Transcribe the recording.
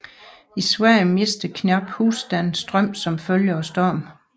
I Sverige mistede knap husstande strømmen som følge af stormen